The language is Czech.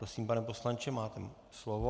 Prosím, pane poslanče, máte slovo.